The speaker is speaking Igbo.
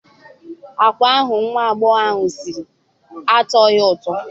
Agwa ahụ nwa agbọghọ ahụ siri atọghị ụtọ.